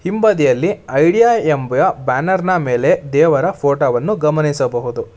ಹಿಂಬದಿಯಲ್ಲಿ ಐಡಿಯಾ ಎಂಬ ಬ್ಯಾನರ್ ನ ಮೇಲೆ ದೇವರ ಫೋಟೋ ವನ್ನು ಗಮನಿಸಬಹುದು.